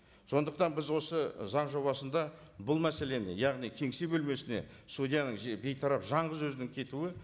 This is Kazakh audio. сондықтан біз осы заң жобасында бұл мәселені яғни кеңсе бөлмесіне судьяның бейтарап жалғыз өзінің кетуі